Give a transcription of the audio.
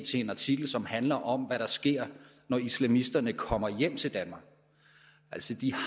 til en artikel som handler om hvad der sker når islamisterne kommer hjem til danmark